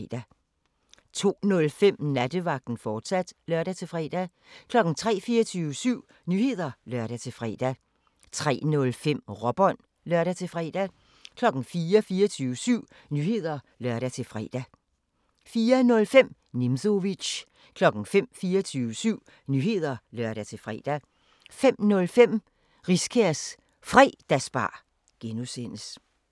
02:05: Nattevagten, fortsat (lør-fre) 03:00: 24syv Nyheder (lør-fre) 03:05: Råbånd (lør-fre) 04:00: 24syv Nyheder (lør-fre) 04:05: Nimzowitsch 05:00: 24syv Nyheder (lør-fre) 05:05: Riskærs Fredagsbar (G)